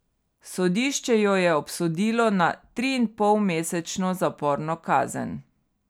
Sodišče jo je obsodilo na triinpolmesečno zaporno kazen.